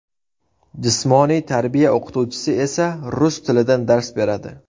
Jismoniy tarbiya o‘qituvchisi esa rus tilidan dars beradi.